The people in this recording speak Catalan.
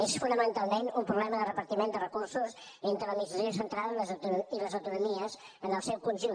és fonamentalment un problema de repartiment de recursos entre l’administració central i les autonomies en el seu conjunt